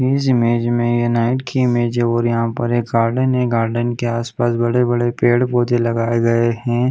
इस इमेज में ये नाईट की इमेज है और यहाँ पे एक गार्डन है गार्डन के आस पास बड़े-बड़े पेड़-पौधे लगाए गए है।